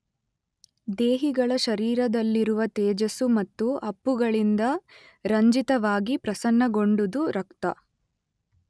ದೇಹಿಗಳ ಶರೀರದಲ್ಲಿರುವ ತೇಜಸ್ಸು ಮತ್ತು ಅಪ್ಪುಗಳಿಂದ ರಂಜಿತವಾಗಿ ಪ್ರಸನ್ನಗೊಂಡುದು ರಕ್ತ.